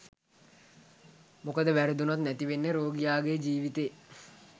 මොකද වැරදුනොත් නැති වෙන්නේ රෝගියාගේ ජීවිතේ